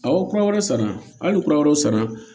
Aw kura wɛrɛ sara hali ni kura wɛrɛ sara